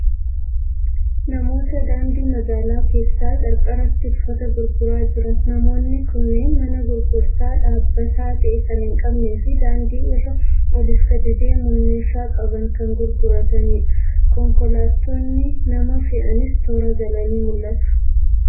Namoota daandii magaala keessaa qarqaratti uffata gurguraa jiran. Namoonni kunneen mana gurgurtaa dhaabbataa ta'e kan hin qabnee fi daandii irra oliif gadi deemuun meeshaa qaban kan gurguratanidha. Konkolaattonni nama fe'anis toora galanii mul'atu.